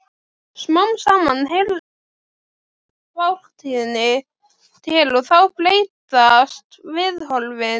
Smám saman heyrir þetta fortíðinni til og þá breytast viðhorfin.